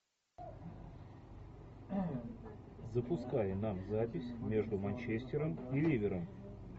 запускай нам запись между манчестером и ливером